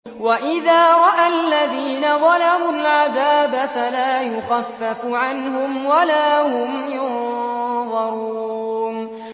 وَإِذَا رَأَى الَّذِينَ ظَلَمُوا الْعَذَابَ فَلَا يُخَفَّفُ عَنْهُمْ وَلَا هُمْ يُنظَرُونَ